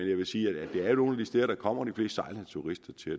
jeg vil sige at det er nogle af de steder der kommer flest sejlende turister til